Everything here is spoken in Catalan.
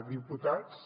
diputats